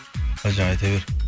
әлжан айта бер